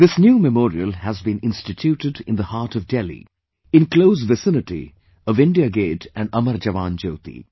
This new memorial has been instituted in the heart of Delhi, in close vicinity of India Gate and Amar JawanJyoti